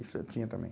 Isso eu tinha também.